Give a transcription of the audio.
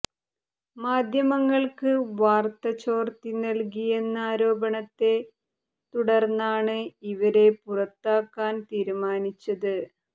മാധ്യമങ്ങള്ക്ക് വാര്ത്ത ചോര്ത്തി നല്കിയെന്ന ആരോപണത്തെ തുടര്ന്നാണ് ഇവരെ പുറത്താക്കാന് തീരുമാനിച്ചത്